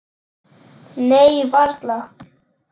Nei, varla.